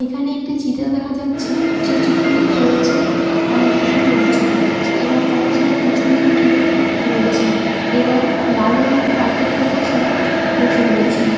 এখানে একটি চিত্র দেখা যাচ্ছে যে চিত্রটিতে রয়েছে অনেকগুলো লোকজন এবং তারা সবাই পেছনদিকে ঘুরে রয়েছে এবং লাল রঙের কার্পেটের উপর সবাই বসে রয়েছেন।